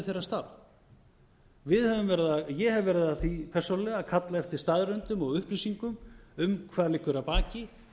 niður þeirra starf ég hef verið að því persónulega að kalla eftir staðreyndum og upplýsingum um hvað liggur að baki